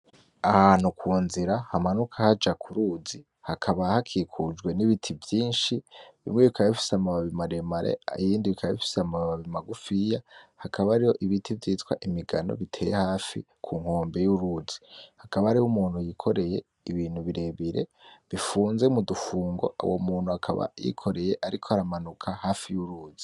Ahantu kunzira hamanuka haja kuruzi hakaba hakikujwe n,ibiti vyinshi bimwe bikaba bifise amabababi maremare ibindi bikaba bifise amababi magufiya hakaba hariyo ibiti vyitwa imigano biteye hafi kunkombe yuruzi hakaba hariyo umuntu yikoreye ibintu birebire bifunze mudufungo uwo muntu akaba yikoreye ariko aramanuka hafi yuruzi .